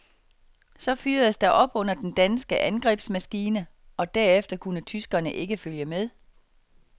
Så fyredes der op under den danske angrebsmaskine, og derefter kunne tyskerne ikke følge med.